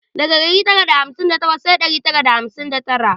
Daga dari tara da hamsin da takwas sai dari tara da hamsin da tara